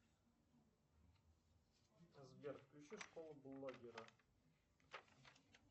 сбер включи школу блогера